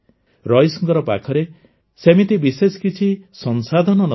ରଇସ୍ଙ୍କ ପାଖରେ ସେମିତି ବିଶେଷ କିଛି ସଂସାଧନ ନ ଥିଲା